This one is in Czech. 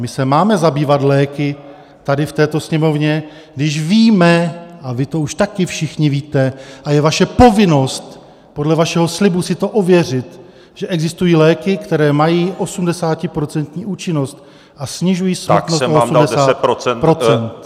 My se máme zabývat léky, tady v této Sněmovně, když víme a vy to už také všichni víte, a je vaše povinnost podle vašeho slibu si to ověřit, že existují léky, které mají 80% účinnost a snižují smrtnost o -